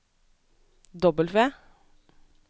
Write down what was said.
W